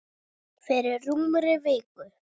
Fyrir rúmri viku.